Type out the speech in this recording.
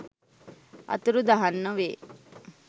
අතුරුදහන් නොවේ.